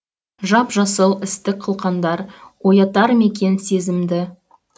жап жасыл істік қылқандар оятар ма екен сезімді